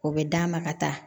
O bɛ d'a ma ka taa